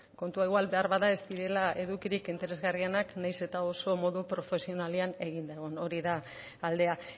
kontua igual behar bada ez direla edukirik interesgarrienak nahiz eta oso modu profesionalean eginda egon hori da aldea